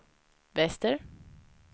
Wester